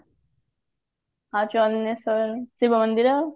ଆଉ ଚନ୍ଦନେସ୍ଵର ଶିବ ମନ୍ଦିର